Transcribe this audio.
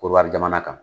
Korowari jamana kan